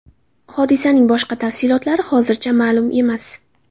Hodisaning boshqa tafsilotlari hozircha ma’lum emas.